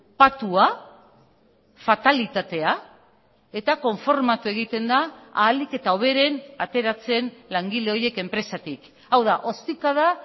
patua fatalitatea eta konformatu egiten da ahalik eta hoberen ateratzen langile horiek enpresatik hau da ostikada